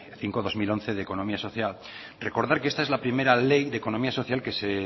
cinco barra dos mil once de economía social recordar que esta es la primera ley de economía social que se